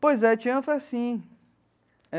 Pois é, Tiana foi assim.